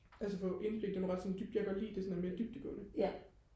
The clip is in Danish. altså få indblik det er nogle ret sådan dybde jeg kan godt lide at det er sådan mere dybdegående